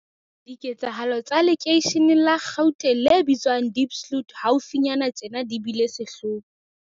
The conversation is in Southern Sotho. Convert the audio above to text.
Diketsahalo tsa lekeisheneng la Gauteng le bitswang Diepsloot haufinyane tjena di bile sehloho.